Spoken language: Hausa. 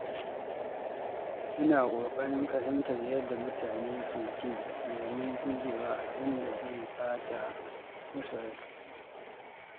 Ina ƙoƙarin fahimtar yadda mutane ke ji domin gujewa yin abin da zai ɓata musu rai.